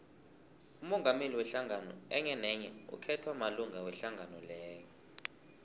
umongameli wehlangano enyenenye ukhethwa malunga wehlangano leyo